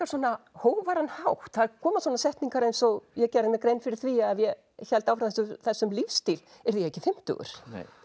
svona hógværan hátt það koma svona setningar eins og ég gerði mér grein fyrir því að ef ég héldi áfram þessum lífsstíl yrði ég ekki fimmtugur